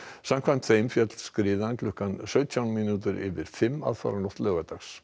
samkvæmt þeim féll skriðan klukkan sautján mínútur yfir fimm aðfaranótt laugardags